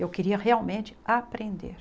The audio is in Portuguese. Eu queria realmente aprender.